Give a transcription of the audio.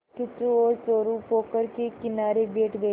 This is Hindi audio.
किच्चू और चोरु पोखर के किनारे बैठ गए